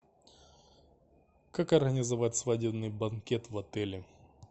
как организовать свадебный банкет в отеле